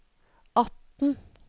atten